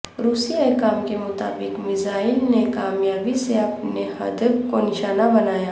روسی حکام کے مطابق میزائل نے کامیابی سے اپنے ہدف کو نشانہ بنایا